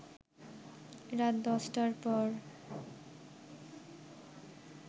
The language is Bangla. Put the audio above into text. রাত ১০টার পর